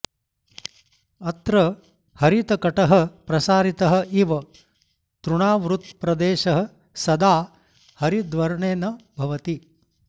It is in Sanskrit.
अत्र हरितकटः प्रसारितः इव तृणावृतप्रदेशः सदा हरिद्वर्णेन भवति